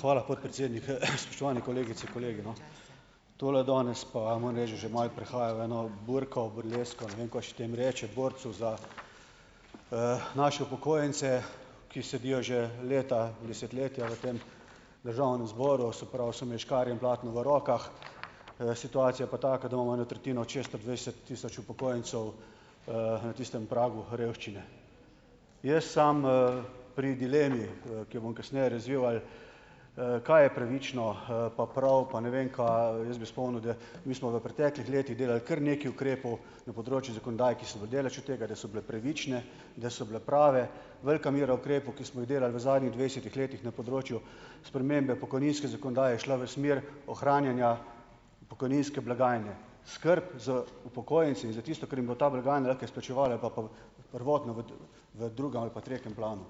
Hvala, podpredsednik. Spoštovani kolegice, kolegi, no ... Tole danes pa, moram reči, da že malo prehaja v eno burko, burlesko, ne vem, kaj še tem reče, borci za, naše upokojence, ki sedijo že leta, desetletja v tem državnem zboru, se pravi, so imeli škarje in platno v rokah, situacija je pa taka, da imamo eno tretjino od šeststo dvajset tisoč upokojencev, na tistem pragu revščine. Jaz sam, pri dilemi, ki jo bom kasneje razvil ali ... kaj je pravično, pa prav, pa ne vem kaj, jaz bi spomnil, da mi smo v preteklih letih delali kar nekaj ukrepov na področju zakonodaj, ki so daleč od tega, da so bile pravične, da so bile prave. Velika mera ukrepov, ki smo jih delali v zadnjih dvajsetih letih na področju spremembe pokojninske zakonodaje, je šla v smer ohranjanja pokojninske blagajne. Skrb za upokojence in za tisto, kar jim bo ta blagajna lahko izplačevala, je pa pa prvotno v v drugem ali pa tretjem planu.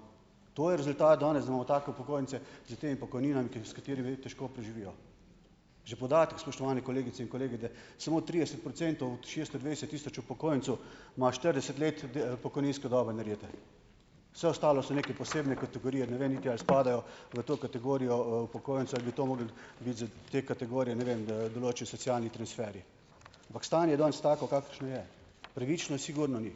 To je rezultat, danes imamo take upokojence s temi pokojninam, s katerimi ljudje težko preživijo. Že podatek, spoštovane kolegice in kolegi, da samo trideset procentov od šesto dvajset tisoč upokojencu ima štirideset let pokojninske dobe narete. Vse ostalo so neke posebne kategorije, ne ve niti, ali spadajo v to kategorijo, upokojencev ali bi mogli biti za te kategorije, ne vem, določeni socialni transferi. Ampak stanje je danes tako, kakršno je. Pravično sigurno ni.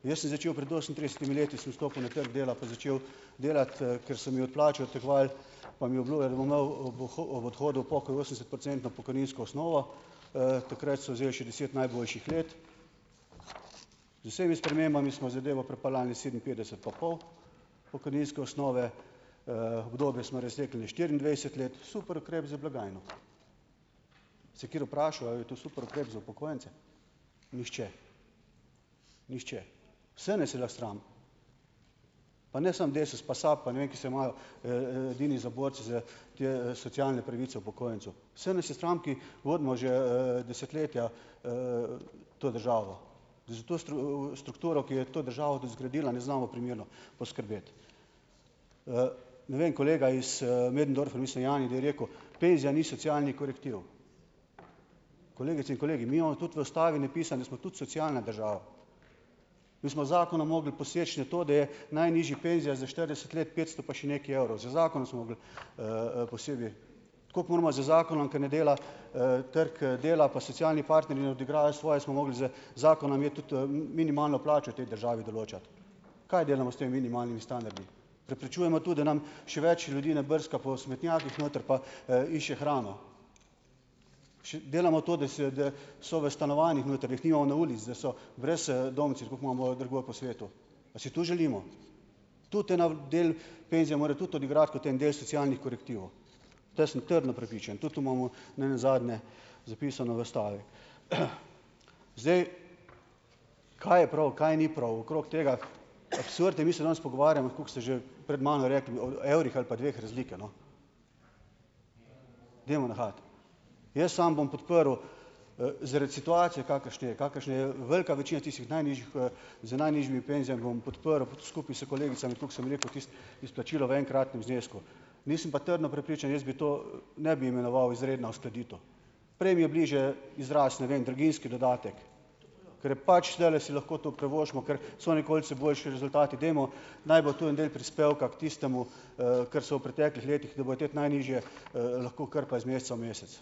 Jaz sem začel pred osemintridesetimi leti, sem vstopil na trg dela, pa začel delati, ker so mi od plače odtegovali, pa mi obljubljali, da bom imel, ob ob odhodu v pokoj osemdesetprocentno pokojninsko osnovo, takrat so vzeli še deset najboljših let, z vsemi spremembami smo zadevo pripeljali sedeminpetdeset pa pol pokojninske osnove, obdobje smo razvlekli na štiriindvajset let - super ukrep na blagajno. Se je kateri vprašal, a je to super ukrep za upokojence? Nihče. Nihče. Vse nas je lahko sram, pa ne samo Desus pa SAB pa ne vem, ki se imajo, edini za borce za socialne pravice upokojencev, vse nas je sram, ki vodimo že, desetletja, to državo. Za to strukturo, ki jo je to država zgradila, ne znamo primerno poskrbeti. ne vem, kolega iz, Möderndorfer, mislim Jani je rekel: "Penzija ni socialni korektiv." Kolegice in kolegi, mi imamo tudi v ustavi napisano, da smo tudi socialna država. Mi smo z zakonom mogli poseči na to, da je najnižja penzija za štirideset let petsto pa še nekaj evrov, z zakonom smo mogli, posebej. Tako moramo z zakonom, ker ne dela, trg, dela pa socialni partnerji ne odigrajo svoje, smo mogli z zakonom je tudi, minimalno plačo v tej državi določati. Kaj delamo s temi minimalnimi standardi? Preprečujemo to, da nam še več ljudi ne brska po smetnjakih noter pa, išče hrano. delamo to, da se so v stanovanjih noter, da jih nimamo na ulici, da so brez, tako, ko imamo drugod po svetu. A si to želimo? Tudi ena del penzija mora tudi odigrati kot en del socialnih korektivov. V to sem trdno prepričan, tudi to imamo nenazadnje zapisano v ustavi. Zdaj, kaj je prav, kaj ni prav okrog tega? Absurd je, mi se danes pogovarjamo tako, kot ste že pred mano rekli, o evrih ali pa dveh razlike, no. Dajmo nehati. Jaz samo bom podprl, zaradi situacije, kakršni je, kakršni je velika večina tistih najnižjih, z najnižjimi penzijami, bom podprl skupaj s kolegicami tako, kot sem rekel, izplačilo v enkratnem znesku. Nisem pa trdno prepričan, jaz to, ne bi imenoval izredna uskladitev - prej mi je bliže izraz, ne vem, draginjski dodatek. Ker pač zdajle si lahko to privoščimo, ker so boljše rezultati. Dajmo, naj bo to en del prispevka k tistemu, kar so v preteklih letih, da bojo te najnižje, lahko krpali z meseca v mesec.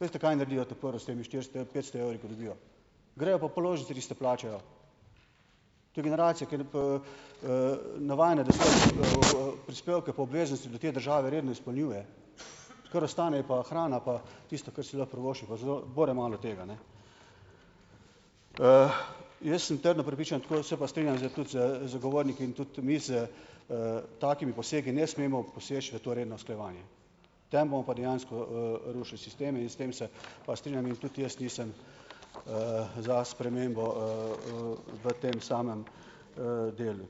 Veste, kaj naredijo ta prvo, s temi štiristo petsto evri, ko dobijo? Grejo pa položnice tiste plačajo. To je generacija, ki je navajena, da svoje, prispevke pa obveznosti do te države redno izpolnjuje. Kar ostane, je pa hrana pa tisto, kar si lahko privošči, pa je zelo bore malo tega, jaz sem trdno prepričan, tako da se pa strinjam s tudi z zagovorniki in tudi mi s, takimi posegi ne smemo poseči v to redno usklajevanje. Tem bomo pa dejansko, rušili sistem in s tem se pa strinjam in tudi jaz nisem, za spremembo, v tem samem, delu.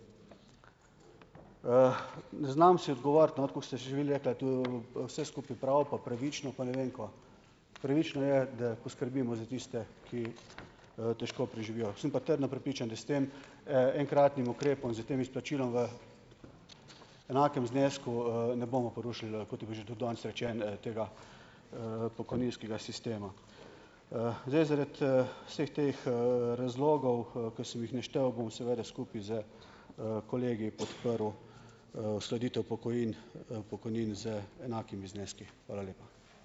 ne znam si odgovoriti, tako ste že vi rekla, to, vse skupaj prav pa pravično pa ne vem kaj. Pravično je, da poskrbimo za tiste, ki, težko preživijo. Sem pa prepričan, da s tem, enkratnim ukrepom, s tem izplačilom v enakem znesku, ne bomo porušili, kot je bilo že tudi danes rečeno, tega, pokojninskega sistema. zdaj, zaradi, vseh teh, razlogov, ki sem jih naštel, bom seveda skupaj s, kolegi podprl, uskladitev pokojnin, pokojnin z enakimi zneski. Hvala lepa.